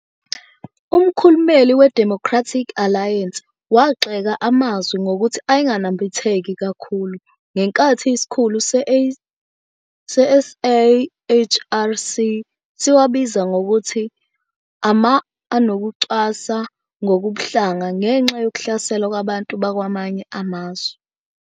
Umkhulumeli we-Democratic Alliance wagxeka amazwi ngokuthi "ayenganambitheki kakhulu", ngenkathi isikhulu se-SAHRC siwabiza ngokuthi ama-anokucwasa ngokobuhlanga ngenxa yokuhlaselwa kwabantu bakwamanye amazwe.